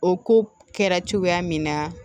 O ko kɛra cogoya min na